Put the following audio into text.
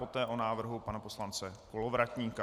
Poté o návrhu pana poslance Kolovratníka.